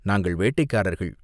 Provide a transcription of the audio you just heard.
நாங்கள் வேட்டைக்காரர்கள்